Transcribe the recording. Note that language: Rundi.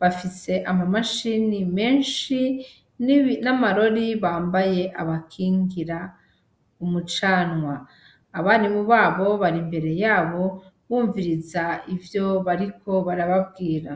bafise amamashini menshi n'amarori bambaye abakingira umucanwa, abarimu babo bari imbere yabo, bumviriza ivyo bariko barababwira.